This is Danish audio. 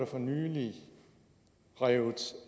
for nylig revet